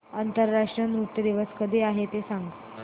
आंतरराष्ट्रीय नृत्य दिवस कधी आहे ते सांग